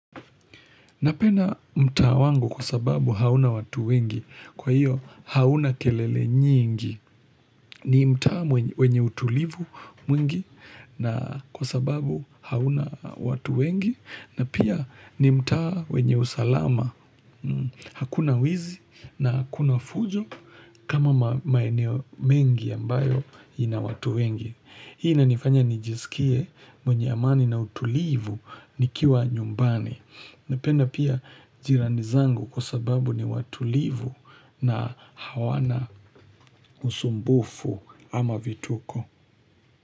Napenda mtaa wangu kwa sababu hauna watu wengi, kwa hiyo hauna kelele nyingi, ni mtaa wenye utulivu mwingi na kwa sababu hauna watu wengi, na pia ni mtaa wenye usalama, hakuna wizi na hakuna fujo kama maeneo mengi ambayo ina watu wengi. Hii inanifanya nijisikie mwenye amani na utulivu nikiwa nyumbani. Napenda pia jirani zangu kwa sababu ni watulivu na hawana usumbufu ama vituko.